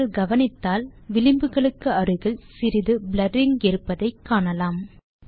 நீங்கள் கவனித்தால் விளிம்புகளுக்கு அருகில் சிறிது ப்ளரிங் இருப்பதை காணலாம்